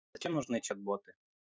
зачем нужны чат-боты